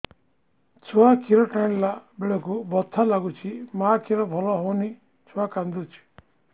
ଛୁଆ ଖିର ଟାଣିଲା ବେଳକୁ ବଥା ଲାଗୁଚି ମା ଖିର ଭଲ ହଉନି ଛୁଆ କାନ୍ଦୁଚି